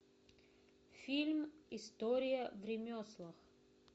фильм история в ремеслах